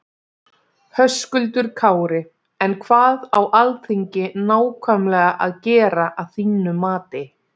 Höskuldur Kári: En hvað á Alþingi nákvæmlega að gera að þínum mati?